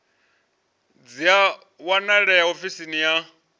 dzi a wanalea ofisini ya